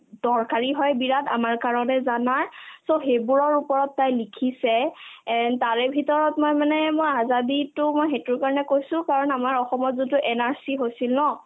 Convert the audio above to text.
দৰকাৰী হয় বিৰাট আমাৰ কাৰণে জানা so সেইবোৰৰ ওপৰত তাই লিখিছে and তাৰে ভিতৰত মই মানে মই azadi তো মই সেইটোৰ কাৰণে কৈছো কাৰণ আমাৰ অসমত যোনতো NRC হৈছিল ন